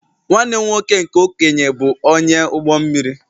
Nwanne m nwoke nke okenye bụ onye ụgbọ mmiri